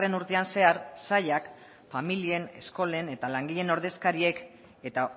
urtean zehar sailak familien eskolen eta langileen ordezkariek eta